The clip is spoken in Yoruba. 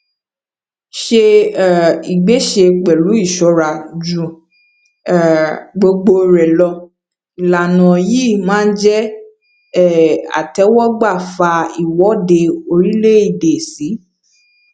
se um ìgbésẹ pẹlu ìṣora ju um gbogbo rẹ lọ ìlànà yìí má jé um àtéwógbà fà iwọde orílè èdè sì